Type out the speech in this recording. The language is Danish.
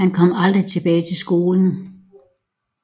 Han kom aldrig tilbage til skolen